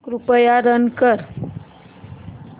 कृपया रन कर